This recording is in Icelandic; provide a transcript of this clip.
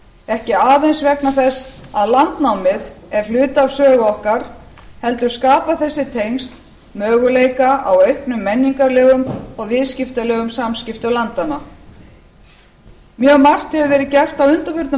ekki aðeins vegna þess að landnámið er hluti af sögu okkar heldur skapa þessi tengsl möguleika á auknum menningarlegum og viðskiptalegum samskiptum landanna mjög margt hefur verið gert á undanförnum